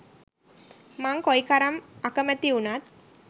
මං කොයි කරම් අකැමති වුනත්